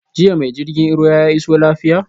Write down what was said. Jiya ma jirgin ruwa ya iso lafiya?